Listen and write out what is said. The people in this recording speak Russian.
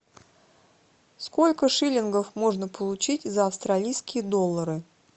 сколько шиллингов можно получить за австралийские доллары